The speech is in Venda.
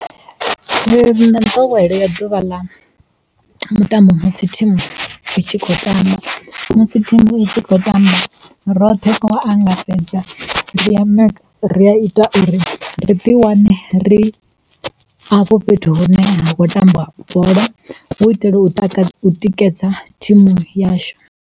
nḓowelo ya ḓuvha ḽa mutambo musi thimu itshi kho tamba, musi thimu itshi kho tamba roṱhe ngo angaredza ri a ita uri ri ḓi wane ri afho fhethu hu ne ha khou tambiwa bola, hu itela u tikedza thimu yashu.